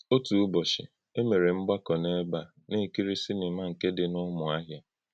Ọ̄tụ̀ ǖ́bọ́chí̄, ē mè̄rè mgbàkọ̄ n’ébè̄ ā nā-èkírí̄ sìnìmà nke dị̄ nà Ǔmúàhị́à.